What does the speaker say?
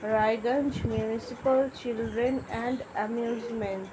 Raiganj municipal children and amusement.